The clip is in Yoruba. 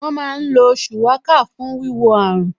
Wọ́n má ń lo Shuwaka fún wíwo àrùn